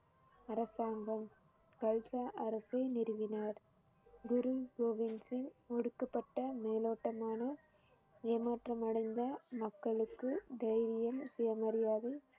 அரசாங்கம் கல்ஸா அரசை நிறுவினர் குரு கோவிந்த் சிங் ஒடுக்கப்பட்ட மேலோட்டமான ஏமாற்றமடைந்த மக்களுக்கு தைரியம் சுயமரியாதை